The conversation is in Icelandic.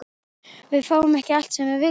Við fáum ekki allt sem við viljum.